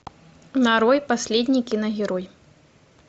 нарой последний киногерой